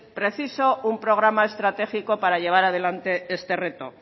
preciso un programa estratégico para llevar adelante este reto